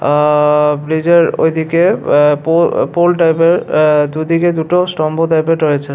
আ-আ-আ-আ ব্রিজের ওইদিকে আ পো আ পোল টাইপের অ্যা দুদিকে দুটো স্তম্ভ টাইপের রয়েছে।